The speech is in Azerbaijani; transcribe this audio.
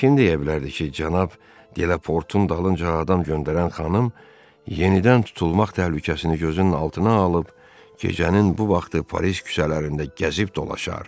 Kim deyə bilərdi ki, cənab de Laport'un dalınca adam göndərən xanım yenidən tutulmaq təhlükəsini gözünün altına alıb gecənin bu vaxtı Paris küçələrində gəzib dolaşar?